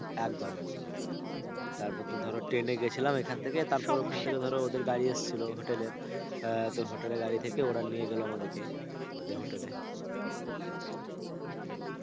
একদম. একদম. একদম. তারপর তো ধরো ট্রেন এ গেছিলাম এখান থেকে তারপর ওখান থেকে ধরো ওদের গাড়ি এসছিল hotel এর. আহ তো hotel এর গাড়ি থেকে ওরা নিয়ে গেলো আমাদেরকে ওদের hotel এ.